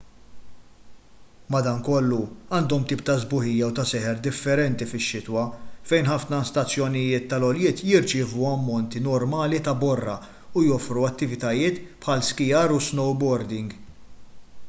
madankollu għandhom tip ta' sbuħija u ta' seħer differenti fix-xitwa fejn ħafna stazzjonijiet tal-għoljiet jirċievu ammonti normali ta' borra u joffru attivitajiet bħal skijar u snowboarding